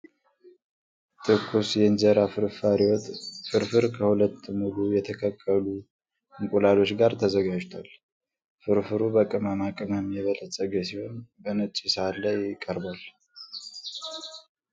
ትኩስ የእንጀራ ፍርፋሪ ወጥ (ፍርፍር) ከሁለት ሙሉ የተቀቀለ እንቁላሎች ጋር ተዘጋጅቷል፡፡ ፍርፍሩ በቅመማ ቅመም የበለፀገ ሲሆን በነጭ ሳህን ላይ ቀርቧል፡፡